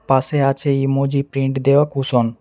পাশে আছে emoji print দেওয়া কুশন ।